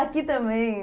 Aqui também.